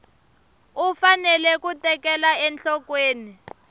u fanele ku tekela enhlokweni